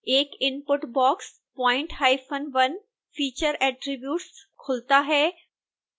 एक input box point1 feature attributes खुलता है